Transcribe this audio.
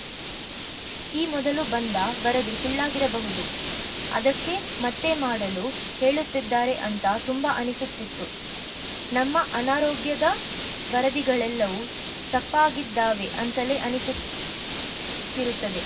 ಈ ಮೊದಲು ಬಂದ ವರದಿ ಸುಳ್ಳಾಗಿರಬಹುದು ಅದಕ್ಕೇ ಮತ್ತೆ ಮಾಡಲು ಹೇಳುತ್ತಿದ್ದಾರೆ ಅಂತ ತುಂಬ ಅನ್ನಿಸುತ್ತಿತ್ತು ನಮ್ಮ ಅನಾರೋಗ್ಯದ ವರದಿಗಳೆಲ್ಲವೂ ತಪ್ಪಾಗಿದ್ದಾವೆ ಅಂತಲೇ ಅನ್ನಿಸುತ್ತಿರುತ್ತದೆ